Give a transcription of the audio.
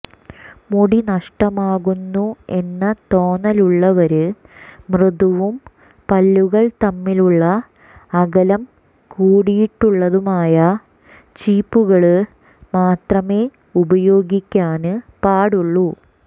മുടി നഷ്ടമാകുന്നു എന്ന തോന്നലുള്ളവര് മൃദുവും പല്ലുകൾ തമ്മിലുള്ള അകലം കൂടിയിട്ടുള്ളതുമായ ചീപ്പുകള് മാത്രമെ ഉപയോഗിക്കാന് പാടുള്ളൂ